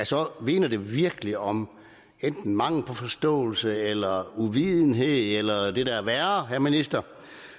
så vidner det virkelig om enten mangel på forståelse eller uvidenhed eller det der er værre herre minister